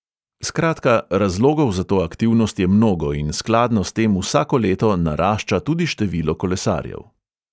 Skratka, razlogov za to aktivnost je mnogo in skladno s tem vsako leto narašča tudi število kolesarjev.